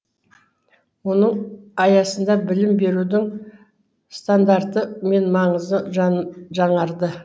оның аясында білім берудің стандарты мен маңызы жаңарды